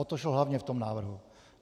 O to šlo hlavně v tom návrhu.